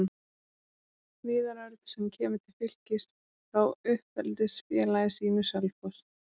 Viðar Örn sem kemur til Fylkis frá uppeldisfélagi sínu, Selfoss.